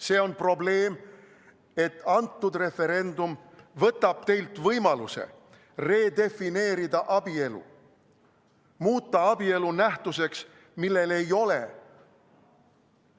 See on see probleem, et see referendum võtab teilt võimaluse redefineerida abielu, muuta abielu nähtuseks, millel ei ole